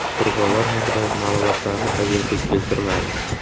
Qurbonlar haqidagi ma’lumotlarni agentlik keltirmadi.